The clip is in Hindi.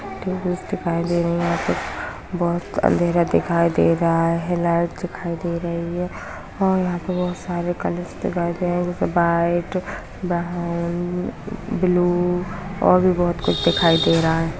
टेबल्स दिखाई दे रही हैं यहां पे बहुत अंधेरा दिखाई दे रहा है लाइट दिखाई दे रही है और यहाँ पे बहुत सारे कलर्स दिखाई दे रहे है जैसे व्हाइट ब्राउन ब्लू और भी बहुत कुछ दिखाई दे रहा।